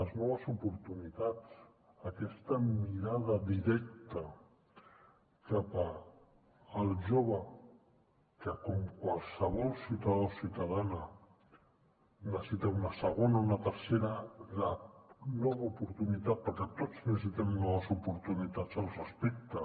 les noves oportunitats aquesta mirada directa cap al jove que com qualsevol ciutadà o ciutadana necessita una segona una tercera una nova oportunitat perquè tots necessitem noves oportunitats al respecte